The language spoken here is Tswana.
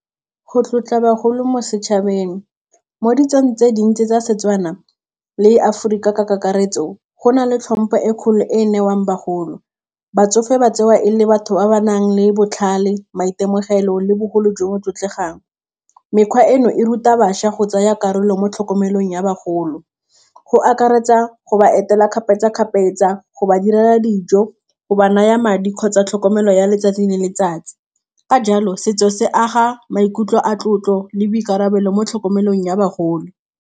Go tlotla bagolo mo setšhabeng mo ditsong tse dintsi tsa Setswana le Aforika ka kakaretso go na le tlhompho e kgolo e e newang bagolo, batsofe ba tsewa e le batho ba ba nang le botlhale, maitemogelo, le bogolo jo bo tlotlegang, mekgwa eno e ruta bašwa go tsaya karolo mo tlhokomelong ya bagolo, go akaretsa go ba etela kgapetsa-kgapetsa, go ba direla dijo go ba naya madi kgotsa tlhokomelo ya letsatsi le letsatsi. Ka jalo setso se aga maikutlo a tlotlo le boikarabelo mo tlhokomelong ya bagolo.